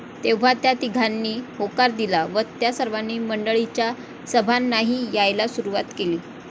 तेव्हा त्या तिघांनी होकार दिला व त्या सर्वांनी मंडळीच्या सभांनाही यायला सुरुवात केली.